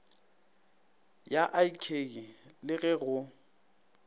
ya ik le ge go